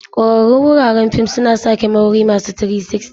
Kwararrun wuraren fim suna sa kyamarori masu 360.